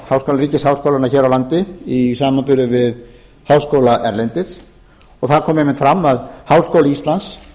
ríkisháskólanna hér á landi í samanburði við háskóla erlendis og það kom einmitt fram að háskóli íslands